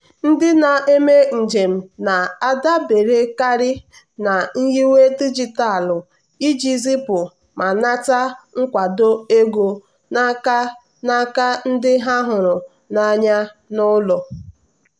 ndị na-eme njem na-adaberekarị na nyiwe dijitalụ iji zipu ma nata nkwado ego n'aka n'aka ndị ha hụrụ n'anya n'ụlọ.